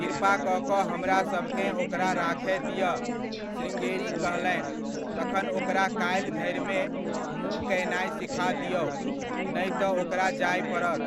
'कृपा कऽ कऽ हमरासभकेँ ओकरा राखय दिअ !' श्रृङ्गेरी कहलनि, तखन ओकरा काल्हि धरिमे मू कयनाय सीखा दिऔ, नहि तऽ ओकरा जाय पड़त।